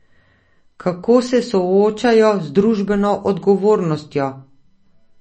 Kako se soočajo z družbeno odgovornostjo?